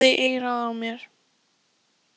Hún hvíslaði í eyrað á mér.